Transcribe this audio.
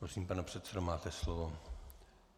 Prosím, pane předsedo, máte slovo.